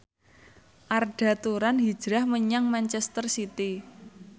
Arda Turan hijrah menyang manchester city